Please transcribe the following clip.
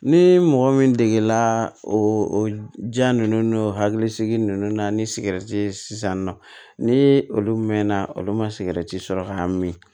Ni mɔgɔ min degel'a diya ninnu n'o hakilisigi ninnu na ni sigɛrɛti ye sisan nɔ ni olu mɛnna olu ma sigɛrɛti sɔrɔ ka mi